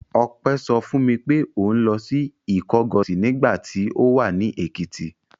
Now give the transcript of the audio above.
Ọpẹ́ sọ fún mi pé òun lọ Ìkọgọ̀sì nígbà tí ó wà ní Èkìtì.